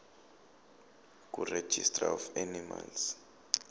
kuregistrar of animals